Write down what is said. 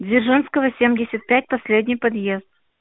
дзержинского семьдесят пять последний подъезд